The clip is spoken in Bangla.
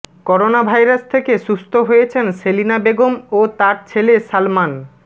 করোনাভাইরাস থেকে সুস্থ হয়েছেন সেলিনা বেগম ও তার ছেলে সালমান